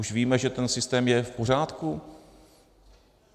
Už víme, že ten systém je v pořádku?